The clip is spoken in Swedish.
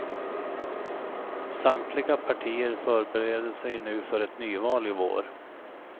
Samtliga partier förbereder sig nu för ett nyval i vår.